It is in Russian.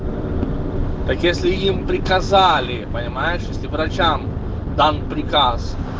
так если им приказали понимаешь если врачам дан приказ